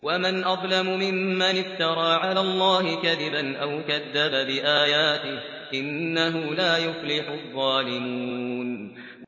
وَمَنْ أَظْلَمُ مِمَّنِ افْتَرَىٰ عَلَى اللَّهِ كَذِبًا أَوْ كَذَّبَ بِآيَاتِهِ ۗ إِنَّهُ لَا يُفْلِحُ الظَّالِمُونَ